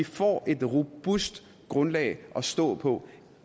får et robust grundlag at stå på